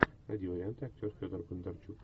найди варианты актер федор бондарчук